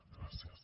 gràcies